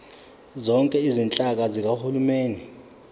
zonke izinhlaka zikahulumeni